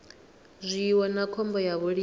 zwiwo na khombo ya vhulimi